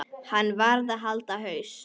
Hann varð að halda haus.